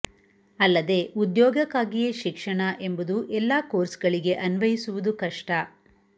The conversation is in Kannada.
ಅಲ್ಲದೆ ಉದ್ಯೋಗಕ್ಕಾಗಿಯೇ ಶಿಕ್ಷಣ ಎಂಬುದು ಎಲ್ಲಾ ಕೋರ್ಸ್ ಗಳಿಗೆ ಅನ್ಚಯಿಸುವುದು ಕಷ್ಟ